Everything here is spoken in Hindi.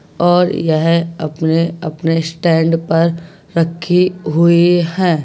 और येह अपने-अपने स्टैंड पर रखी हुई हैं।